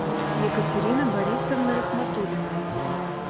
екатерина борисовна рахматулина